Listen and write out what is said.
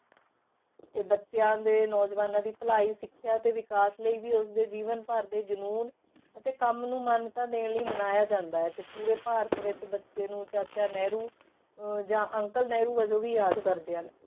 ਤੇ ਬੱਚਿਆਂ ਦੇ ਨੌਜਵਾਨਾਂ ਦੀ ਭਲਾਈ ਸਿੱਖਿਆ ਤੇ ਵਿਕਾਸ ਲਈ ਵੀ ਉਸਦੇ ਜੀਵਨ ਭਰ ਦੇ ਜ਼ਨੂਨ ਅਤੇ ਕੰਮ ਨੂੰ ਮਾਨਤਾ ਦੇਣ ਲਈ ਮਨਾਇਆ ਜਾਂਦਾ ਹੈ ਤੇ ਪੂਰੇ ਭਾਰਤ ਵਿੱਚ ਬੱਚੇ ਨੂੰ ਚਾਚਾ ਨਹਿਰੂ ਅਹ ਜਾਂ ਅੰਕਲ ਨਹਿਰੂ ਵਜੋਂ ਵੀ ਯਾਦ ਕਰਦੇ ਹਨ।